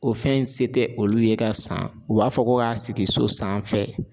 O fɛn in se te olu ye ka san u b'a fɔ ko ka sigi so sanfɛ.